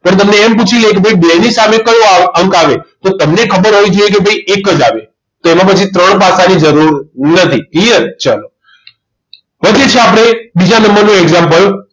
પણ તમને એમ પૂછી લે કે ભાઈ બે ની સામે કયો અંક અંક આવે તો તમને ખબર હોવી જોઈએ કે ભાઈ એક જ આવે તો એના પછી ત્રણ પાસાની જરૂર નથી clear ચાલો પછી છે આપણે બીજા નંબરનું example